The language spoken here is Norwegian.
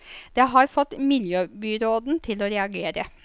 Det har fått miljøbyråden til å reagere.